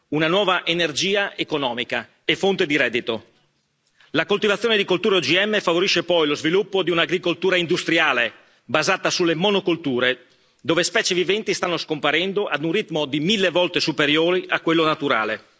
una nuova energia economica e fonte di reddito. La coltivazione di colture OGM favorisce poi lo sviluppo di un'agricoltura industriale, basata sulle monocolture, dove specie viventi stanno scomparendo ad un ritmo di mille volte superiore a quello naturale.